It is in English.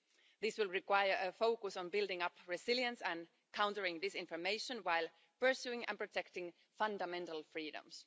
This will require a focus on building up resilience and countering disinformation while pursuing and protecting fundamental freedoms.